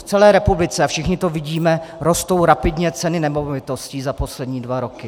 V celé republice, a všichni to vidíme, rostou rapidně ceny nemovitostí za poslední dva roky.